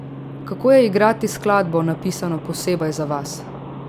Kako je igrati skladbo, napisano posebej za vas?